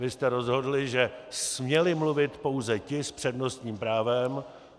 Vy jste rozhodli, že směli mluvit pouze ti s přednostním právem.